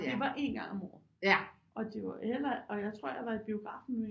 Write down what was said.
Det var én gang om året og det var heller og jeg tror jeg var i biografen med